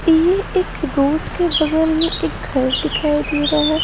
ये एक रोड के बगल में एक घर दिखाई दे रहा है।